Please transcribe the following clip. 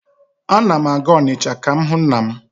Ana m aga Onicha ka m hụ nna m.